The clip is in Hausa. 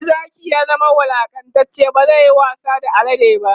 Koda Zaki ya zama wulaƙantacce bazayayi wasa da alade ba